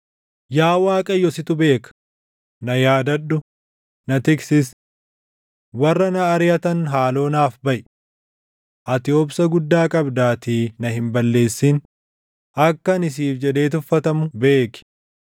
Yaa Waaqayyo situ beeka; na yaadadhu; na tiksis. Warra na ariʼatan haaloo naaf baʼi. Ati obsa guddaa qabdaatii na hin balleessin; akka ani siif jedhee tuffatamu beeki.